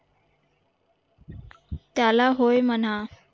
त्याला होय म्हणा